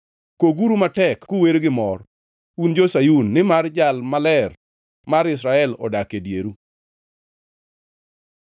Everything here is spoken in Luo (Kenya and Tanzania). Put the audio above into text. Koguru matek kuwer gi mor, un jo-Sayun nimar Jal Maler mar Israel odak e dieru.”